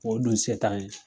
O dun se t'an ye.